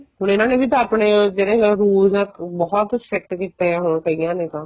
ਹੁਣ ਇਹਨਾ ਨੇ ਆਪਣੇ ਜਿਹੜੇ rules ਏ ਬਹੁਤ strict ਕੀਤੇ ਨੇ ਹੁਣ ਕਈਆਂ ਨੇ ਤਾਂ